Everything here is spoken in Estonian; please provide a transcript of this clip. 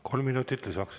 Kolm minutit lisaks.